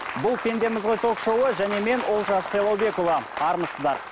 бұл пендеміз ғой ток шоуы және мен олжас сайлаубекұлы армысыздар